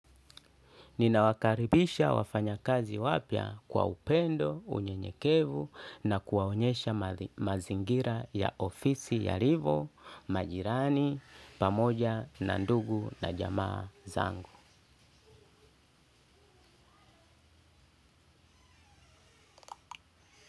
Nina wakaribisha wafanyakazi wapya kwa upendo, unyenyekevu na kuwaonyesha mazingira ya ofisi yalivyo, majirani, pamoja, na ndugu na jamaa zangu.